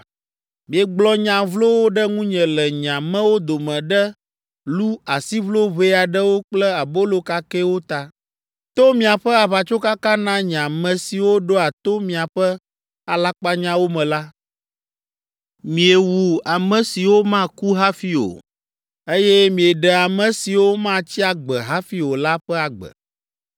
Miegblɔ nya vlowo ɖe ŋunye le nye amewo dome ɖe lu asiʋlo ʋɛ aɖewo kple abolo kakɛwo ta. To miaƒe aʋatsokaka na nye ame siwo ɖoa to miaƒe alakpanyawo me la, miewu ame siwo maku hafi o, eye mieɖe ame siwo matsi agbe hafi o la ƒe agbe.’